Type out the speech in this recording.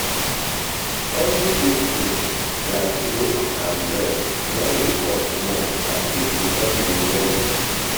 everyday things like milk and bread don dey cost more and people don dey worry.